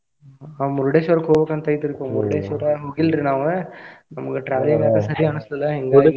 ಹ್ಮ್ ನಾವ್ Murdeshwar ಹೊಗ್ಬೇಕಂತ ಐತ್ರಿ Murdeshwar ಹೋಗಿಲ್ರಿ ನಾವ ನಮ್ಗ travel ಮಾಡಾಕ ಸರಿ ಅನ್ಸಲಿಲ್ಲಾ ಹಿಂಗಾಗಿ .